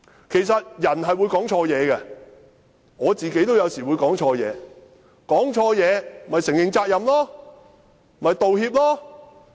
其實人是會說錯話的，我自己有時候也會說錯話，說錯話便承認責任，作出道歉。